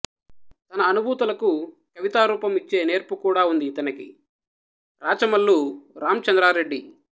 తన అనుభూతులకు కవితారూపం యిచ్చే నేర్పుకూడావుంది యితనికి రాచమల్లు రామచంద్రారెడ్డి